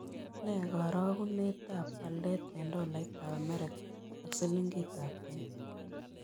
Nee karogunetap walet eng' tolaitap amerika ak silingitap kenya